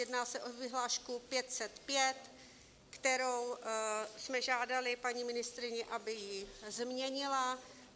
Jedná se o vyhlášku 505, kterou jsme žádali paní ministryni, aby ji změnila.